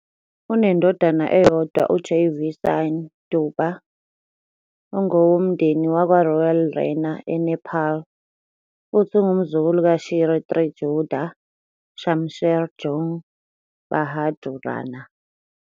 unendodana eyodwa uJayveer Singh Deuba ongowomndeni wakwaRoyal Rana eNepal futhi ungumzukulu kaShri 3 Judha Shamsher Jung Bahadur Rana.